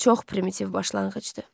Çox primitiv başlanğıcdır.